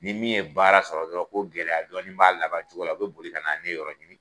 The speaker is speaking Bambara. Ni min ye baara sɔrɔ dɔrɔn ko gɛlɛya dɔɔnin b'a labancogo la u be boli ka na ne yɔrɔ ɲini